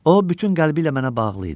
O bütün qəlbi ilə mənə bağlı idi.